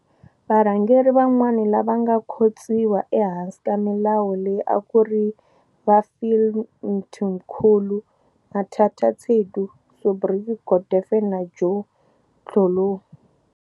Varhangeri van'wana lava va nga khotsiwa ehansi ka milawu leyi a ku ri va Phil Mtimkhulu, Mathatha Tsedu, Subri Govende na Joe Thloloe.